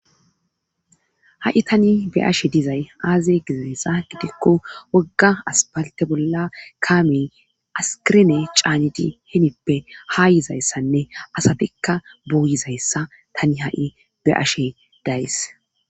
Ha'i tani be ashe dizay aaze gizayssa gidikko wogga aspalte bolla kaamiy askirene caanidi himippe ha yizayssanne asatikka buuyizayssa tani ha'i be ashe days.